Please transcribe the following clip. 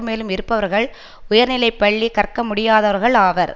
மேலும் இருப்பவர்கள் உயர்நிலை பள்ளி கற்கமுடியாதவர்கள் ஆவர்